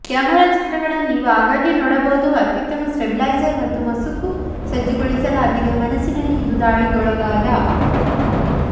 camera ಚಿತ್ರಗಳನ್ನು ನೀವು ಆಗಾಗ್ಗೆ ನೋಡಬಹುದು ಅತ್ಯುತ್ತಮ ಸ್ಟೇಬಿಲೈಸರ್ ಮತ್ತು ಮಸುಕು ಸಜ್ಜುಗೊಳಿಸಲಾಗಿದೆ ಮನಸ್ಸಿನಲ್ಲಿ ಇದು ದಾಳಿಗೊಳಗಾದ